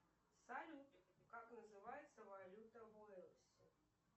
салют как называется валюта в уэльсе